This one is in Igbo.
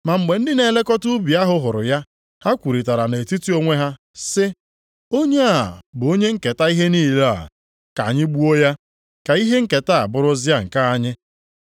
“Ma mgbe ndị na-elekọta ubi ahụ hụrụ ya, ha kwurịtara nʼetiti onwe ha, sị, ‘Onye a bụ onye nketa ihe niile a, ka anyị gbuo ya, ka ihe nketa a bụrụzia nke anyị.’